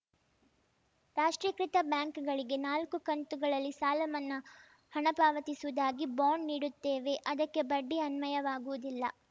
ರಾಷ್ಟ್ರೀಕೃತ ಬ್ಯಾಂಕ್‌ಗಳಿಗೆ ನಾಲ್ಕು ಕಂತುಗಳಲ್ಲಿ ಸಾಲ ಮನ್ನಾ ಹಣ ಪಾವತಿಸುವುದಾಗಿ ಬಾಂಡ್‌ ನೀಡುತ್ತೇವೆ ಅದಕ್ಕೆ ಬಡ್ಡಿ ಅನ್ವಯವಾಗುವುದಿಲ್ಲ